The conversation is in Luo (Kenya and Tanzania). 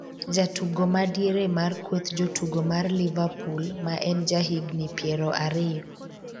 jatugo ma diere mar kweth jotugo mar liverpool, ma en ja higni piero ariyo,